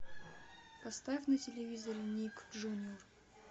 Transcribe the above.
поставь на телевизоре ник джуниор